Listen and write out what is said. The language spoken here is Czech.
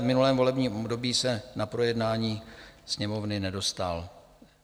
V minulém volebním období se na projednání Sněmovny nedostal.